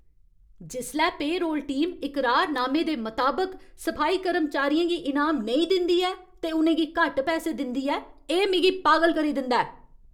जिसलै payroll team इकरारनामे दे मताबक सफाई कर्मचारियें गी इनाम नेईं दिंदी ऐ ते उ'नें गी घट्ट पैसे दिंदी ऐ, एह् मिगी पागल करी दिंदा ऐ ।